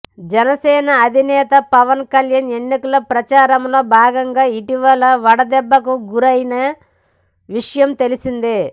జనసేన అధినేత పవన్ కళ్యాణ్ ఎన్నికల ప్రచారం లో భాగంగా ఇటీవల వడదెబ్బకు గురియైన విషయం తెలిసిందే